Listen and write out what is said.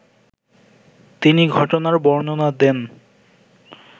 তিনি ঘটনার বর্ণনা দেন